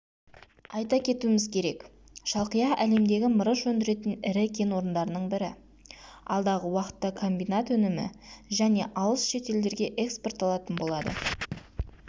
айта кетуіміз керек шалқия әлемдегі мырыш өндіретін ірі кен орындарының бірі алдағы уақытта комбинат өнімі және алыс шет елдерге экспортталатын болады